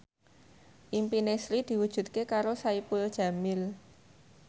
impine Sri diwujudke karo Saipul Jamil